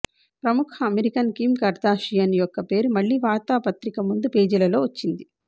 ప్రముఖ American Kim Kardashian యొక్క పేరు మళ్లీ వార్తాపత్రిక ముందు పేజీలలో వచ్చింది